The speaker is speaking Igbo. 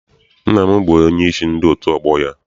Nna m bụ onyeisi ndị otu ọgbọ ya.